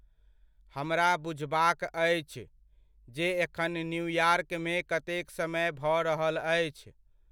हमरा बुझबाक आछि, जे एखन न्यूयॉर्कमे कतेक समय भऽ रहल अछि।